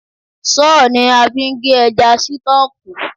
Sọ́ọ̀ ni a fi ń gé ẹja sítọ̀ọ̀kù